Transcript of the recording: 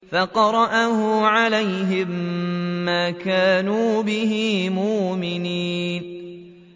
فَقَرَأَهُ عَلَيْهِم مَّا كَانُوا بِهِ مُؤْمِنِينَ